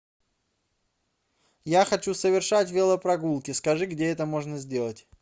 я хочу совершать велопрогулки скажи где это можно сделать